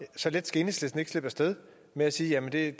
så let skal enhedslisten ikke slippe af sted med at sige at det